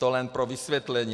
To jen pro vysvětlení.